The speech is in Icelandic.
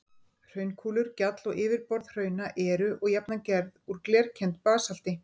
Hraunkúlur, gjall og yfirborð hrauna eru og jafnan gerð úr glerkenndu basalti.